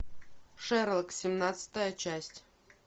шерлок семнадцатая часть